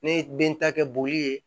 Ne ye den ta kɛ boli ye